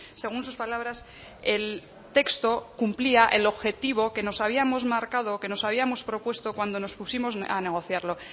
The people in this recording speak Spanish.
según sus palabras el texto cumplía el objetivo que nos habíamos marcado que nos habíamos propuesto cuando nos pusimos a negociarlo